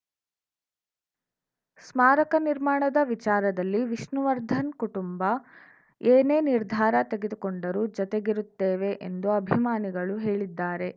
ಸ್ಮಾರಕ ನಿರ್ಮಾಣದ ವಿಚಾರದಲ್ಲಿ ವಿಷ್ಣುವರ್ಧನ್‌ ಕುಟುಂಬ ಏನೇ ನಿರ್ಧಾರ ತೆಗೆದುಕೊಂಡರೂ ಜತೆಗಿರುತ್ತೇವೆ ಎಂದು ಅಭಿಮಾನಿಗಳು ಹೇಳಿದ್ದಾರೆ